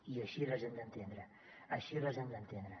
i així les hem d’entendre així les hem d’entendre